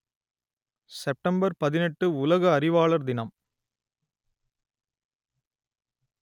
September பதினெட்டு உலக அறிவாளர் தினம்